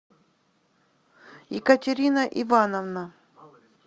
екатерина ивановна